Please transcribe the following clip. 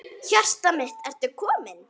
Hjartað mitt, ertu kominn?